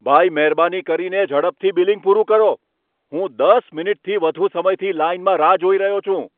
ભાઈ, મહેરબાની કરીને ઝડપથી બિલિંગ પૂરું કરો! હું દસ મિનિટથી વધુ સમયથી લાઇનમાં રાહ જોઈ રહ્યો છું.